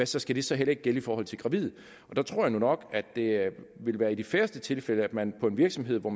så skal det så heller ikke gælde i forhold til gravide der tror jeg nu nok at det ville være i de færreste tilfælde at man på en virksomhed